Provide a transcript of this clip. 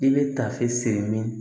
I bɛ tafe siri min